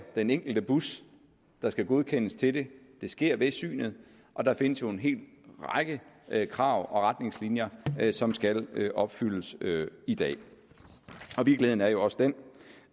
den enkelte bus der skal godkendes til det det sker ved synet og der findes en hel række krav og retningslinjer som skal opfyldes i dag og virkeligheden er jo også den